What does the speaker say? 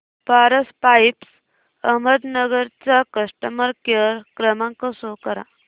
Paras pipes Ahmednagar चा customer care क्रमांक show करा